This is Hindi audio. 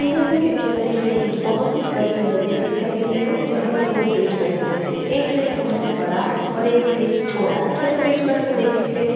दिए हुए पिक्चर में हमे एक बहुत ही बड़ी नदी दिखाई गई है जहां पर दो ब्रिज बने हुए है एक ब्रिज बहुत ही बड़ा है और एक छोटा है।